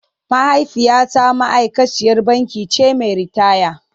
Mahaifiyata ma’aikaciyar banki ce mai ritaya.